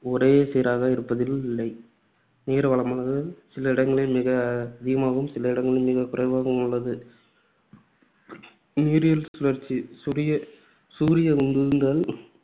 ஒரே சீராக இருப்பதி ல்லை. நீர் வளமானது சில இடங்களில் மிக அதிகமாகவும், சில இடங்களில் மிக குறைவாகவும் உள்ளது. நீரியல் சுழற்சி சுரிய~ சூரிய உந்துதல்